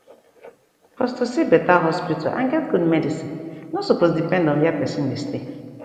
pause to see beta hospital and get good medicin nor supose depend on where pesin dey stay